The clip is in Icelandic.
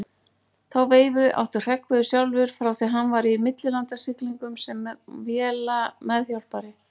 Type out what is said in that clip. Þá veifu átti Hreggviður sjálfur frá því hann var í millilandasiglingum sem vélameðhjálpari.